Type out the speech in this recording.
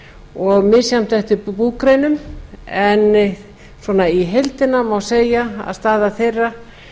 og misjafnt eftir búgreinum en í heildina má segja að staða þeirra